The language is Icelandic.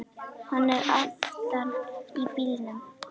Hann er aftan í bílnum!